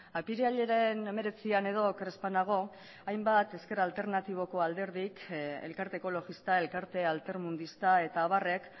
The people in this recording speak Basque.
apirilaren hemeretzian edo oker ez banago hainbat ezker alternatiboko alderdik elkarte ekologista elkarte altermundista eta abarrek